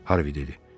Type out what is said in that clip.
Harvi dedi.